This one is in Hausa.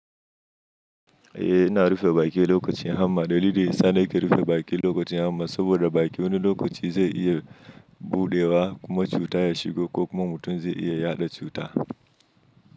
Eh ina rufe baki lokacin hamma. Dalili sa nake ke rufe baƙi lokacin hamma saboda baki wani lokaci zai iya buɗewa kuma cuta ya shigo ko kuma mutum zai iya yaɗa cuta.